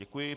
Děkuji.